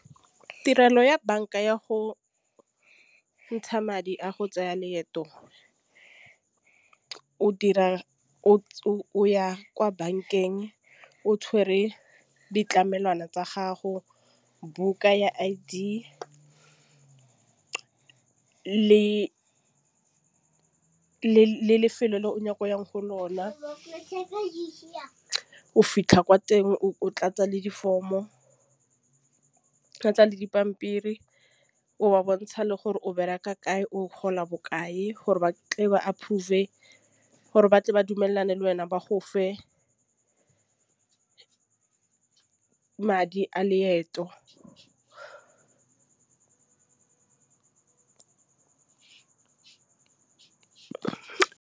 Tirelo ya banka ya go ntšha madi a go tseya leeto o dira o ya kwa bankeng o tshwere ditlamelwana tsa gago. Buka ya i lefelo le o nako yang go lona kere o ise yang o fitlha kwa teng o tlatsa le di-form-o o tlatsa le dipampiri o ba bontsha le gore o bereka kae o gola bokae gore ba ka ba ap mofe gore ba tle ba dumelane le wena ba go fa madi a leeto.